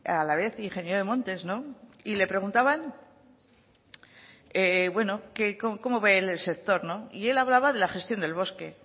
a la vez ingenio de montes no y le preguntaban que cómo ve él el sector y él hablaba de la gestión del bosque